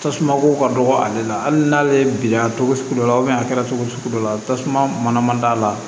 Tasumako ka dɔgɔ ale la hali n'ale bilenna togo sugu dɔ la a kɛra togo sugu dɔ la tasuma mana d'a la